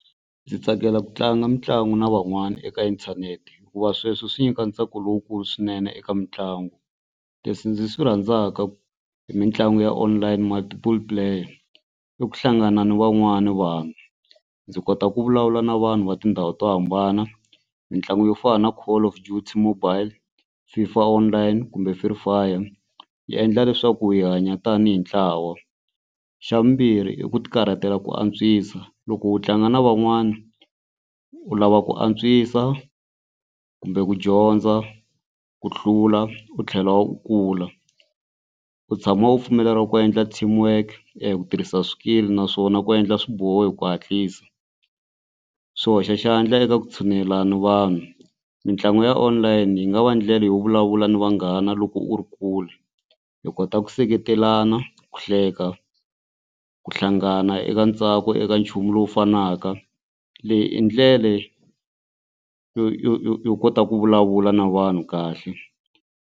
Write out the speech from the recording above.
Ndzi tsakela ku tlanga mitlangu na van'wana eka inthanete hikuva sweswo swi nyika ntsako lowukulu swinene eka mitlangu. Leswi ndzi swi rhandzaka hi mitlangu ya online multiple player i ku hlangana ni van'wana vanhu ndzi kota ku vulavula na vanhu va tindhawu to hambana mitlangu yo fana na call of duty mobile, FIFA online kumbe free fire yi endla leswaku hi hanya tanihi ntlawa. Xa vumbirhi i ku ti karhatela ku antswisa loko u tlanga na van'wana u lava ku antswisa kumbe ku dyondza ku hlula u tlhela u kula u tshama u pfumeleriwa ku endla team work eku tirhisa swikili naswona ku endla swiboho hi ku hatlisa. Swi hoxa xandla eka ku tshunelelana ni vanhu mitlangu ya online yi nga va ndlela yo vulavula ni vanghana loko u ri kule hi kota ku seketelana ku hleka ku hlangana eka ntsako eka nchumu lowu fanaka leyi i ndlela yo yo yo yo yo kota ku vulavula na vanhu kahle.